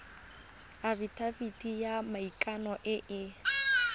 afitafiti ya maikano e e